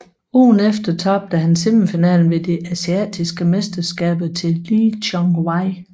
Ugen efter tabte han semifinalen ved de asiatiske mesterskaber til Lee Chong Wei